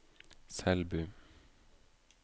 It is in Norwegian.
Selbu